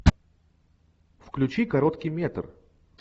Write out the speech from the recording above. включи короткий метр